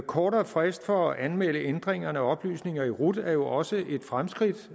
kortere frist for at anmelde ændringerne og oplysningerne i rut er jo også et fremskridt